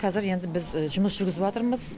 қазір енді біз жұмыс жүргізіватырмыз